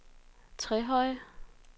Trehøje